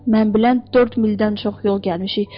Mən bilən dörd mildən çox yol gəlmişik.